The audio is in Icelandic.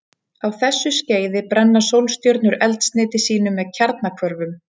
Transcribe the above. Á þessu skeiði brenna sólstjörnur eldsneyti sínu með kjarnahvörfum.